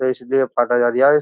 तो इसलिये काटा जा रिया ये।